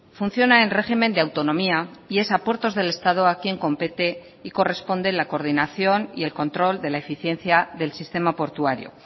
funciona en régimen de autonomía y es a puertos del estado a quien compete y corresponde la coordinación y el control de la eficiencia del sistema portuario